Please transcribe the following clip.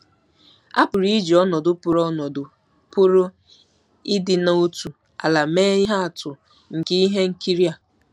A pụrụ iji ọnọdụ pụrụ ọnọdụ pụrụ ịdị n'otu ala mee ihe atụ nke ihe nkiri a.